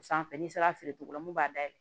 O sanfɛ n'i sera a feere cogo la mun b'a dayɛlɛ